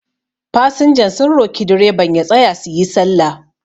fasinjan sun roki direban ya tsaya su yi sallah